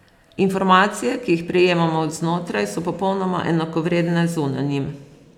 Informacije, ki jih prejemamo od znotraj, so popolnoma enakovredne zunanjim.